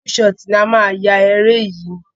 Full shot ni a máa yá eré yìí.